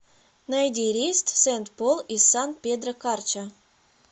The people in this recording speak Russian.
найди рейс в сент пол из сан педро карча